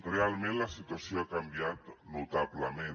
realment la situació ha canviat notablement